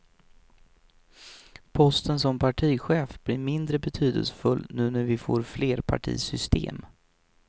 Posten som partichef blir mindre betydelsefull nu när vi får flerpartisystem.